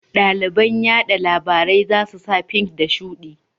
Ɗaliban yaɗa labarai za su sa fink da shuɗi